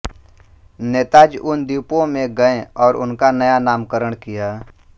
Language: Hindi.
नेताजी उन द्वीपों में गये और उनका नया नामकरण किया